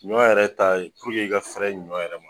Ɲɔ yɛrɛ ta ye i ka fɛɛrɛ ɲɔ yɛrɛ ma